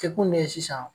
Jɛkulu de ye sisan